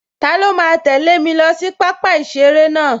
Taló máa tẹ̀lẹ́ mi lọ sí pápá-ìseré náà?